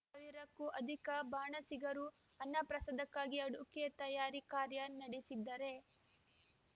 ಸಾ ವಿರ ಕ್ಕೂ ಅಧಿಕ ಬಾಣಸಿಗರು ಅನ್ನಪ್ರಸಾದಕ್ಕಾಗಿ ಅಡುಗೆ ತಯಾರಿ ಕಾರ್ಯ ನಡೆಸಿದ್ದರೆ